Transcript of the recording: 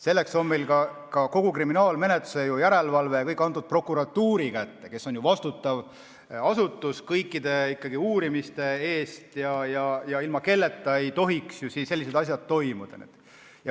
Selleks ongi meil kogu kriminaalmenetluse järelevalve antud prokuratuuri kätte, see asutus on ju kõikide uurimiste eest vastutav ja ilma prokuratuurita ei tohiks sellised asjad toimuda.